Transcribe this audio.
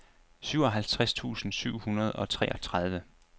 syvoghalvtreds tusind syv hundrede og treogtredive